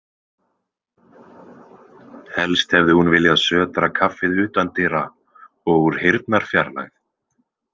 Helst hefði hún viljað sötra kaffið utandyra og úr heyrnarfjarlægð.